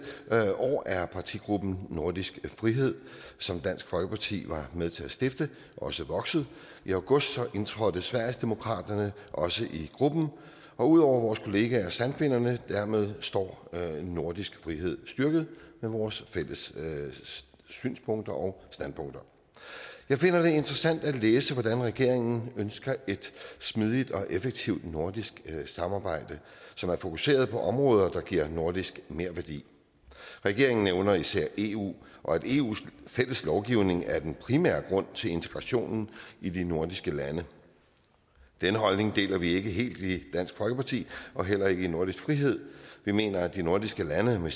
år er partigruppen nordisk frihed som dansk folkeparti var med til at stifte også vokset i august indtrådte sverigesdemokraterne også i gruppen ud over vores kollegaer de sande finner og dermed står nordisk frihed styrket med vores fælles synspunkter og standpunkter jeg finder det interessant at læse hvordan regeringen ønsker et smidigt og effektivt nordisk samarbejde som er fokuseret på områder der giver nordisk merværdi regeringen nævner især eu og at eus fælles lovgivning er den primære grund til integrationen i de nordiske lande den holdning deler vi ikke helt i dansk folkeparti og heller ikke i nordisk frihed vi mener at de nordiske lande med